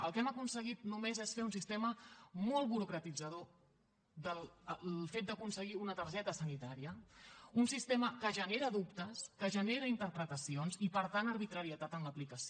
el que hem aconseguit només és fer un sistema molt burocratitzador del fet d’aconseguir una targeta sanitària un sistema que genera dubtes que genera interpretacions i per tant arbitrarietat en l’aplicació